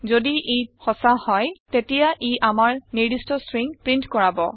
যদি ই সচা হয় তেতিয়া ই আমাৰ নিৰ্দিস্ট ষ্ট্ৰিং প্ৰীন্ট কৰাব